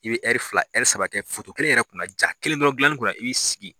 I bɛ ɛri fila ɛri saba kɛ kelen yɛrɛ kun na jaa kelen dɔrɔn gilanni kun na i b'i sigi.